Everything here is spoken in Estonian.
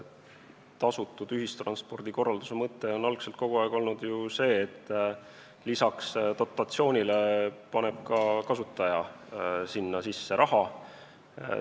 Tasutud ühistranspordi korralduse mõte on algselt kogu aeg olnud ju see, et lisaks dotatsioonile paneb ka kasutaja sinna sisse raha.